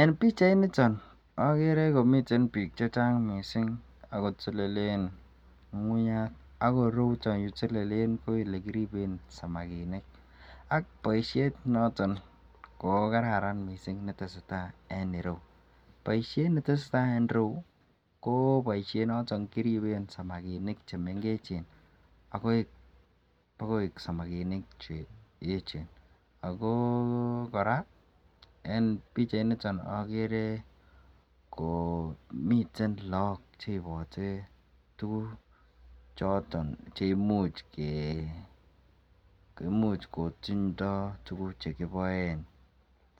en pichait niton ogere komii biik chechang mising agotelelen ngungunyaat, ak ireuuton yetelelen ko elegiribeen samaginik ak boisheet noton koogararan mising netesetai en ireuu, boishet netesetai en ireuu koo boisheet noton negiribeen samaginik chemengechen bo koeek samaginik cheechen, agoo koraa en pichait nitoon ko ogeree komiten look cheibote tuguk choton cheimuch kotindoo tuguk choton chegiboeen